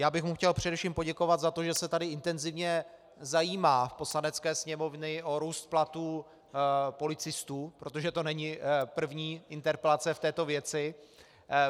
Já bych mu chtěl především poděkovat za to, že se tady intenzivně zajímá v Poslanecké sněmovně o růst platů policistů, protože to není první interpelace v této věci.